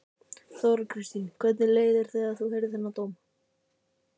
Þóra Kristín: Hvernig leið þér þegar þú heyrðir þennan dóm?